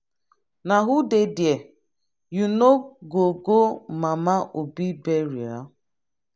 na who dey there? you no go go mama obi burial?